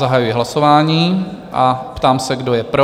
Zahajuji hlasování a ptám se, kdo je pro.